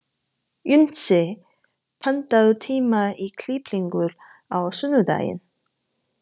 Unnsi, pantaðu tíma í klippingu á sunnudaginn.